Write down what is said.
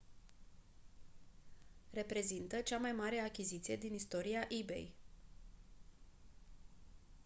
reprezintă cea mai mare achiziție din istoria ebay